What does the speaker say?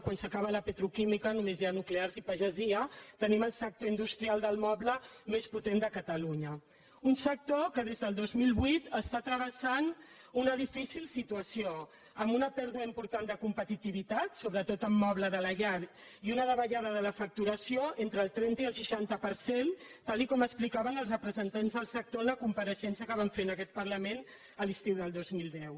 quan s’acaba la petroquímica només hi ha nuclears i pagesia tenim el sector industrial del moble més potent de catalunya un sector que des del dos mil vuit travessa una difícil situació amb una pèrdua important de competitivitat sobretot amb moble de la llar i una davallada de la facturació entre el trenta i el seixanta per cent tal com explicaven els representants del sector en la compareixença que van fer en aquest parlament l’estiu del dos mil deu